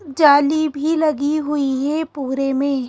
जाली भी लगी हुई है पूरे में--